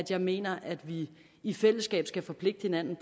jeg mener at vi i fællesskab skal forpligte hinanden